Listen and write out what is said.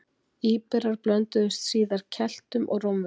Íberar blönduðust síðar Keltum og Rómverjum.